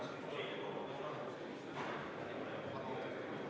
Riigikogus eelnõu menetlemisel esindan põhiseaduskomisjoni mina.